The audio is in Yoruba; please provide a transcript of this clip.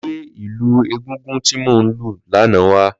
Lọ̀ gbé ilù égúngún ti mó n lù làná wá